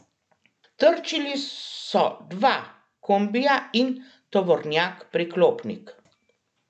Trčili so dva kombija in tovornjak priklopnik.